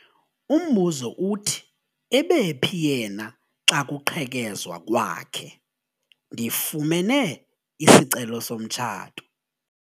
Umbuzo uthi ebephi yena xa kuqhekezwa kwakhe? ndifumene isicelo somtshato